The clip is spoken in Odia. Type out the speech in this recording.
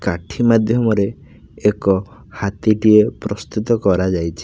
କାଠି ମାଧ୍ୟମରେ ଏକ ହାତୀଟିଏ ପ୍ରସ୍ତୁତ କରାଯାଇଛି।